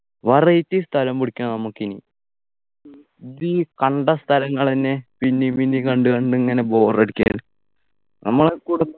variety സ്ഥലം പിടിക്കണം നമ്മക്കെനി ഇത് കണ്ട സ്ഥലങ്ങളെന്നെ പിന്നിം പിന്നിം കണ്ട് കണ്ടിങ്ങനെ bore അടിക്കാന് നമ്മളെ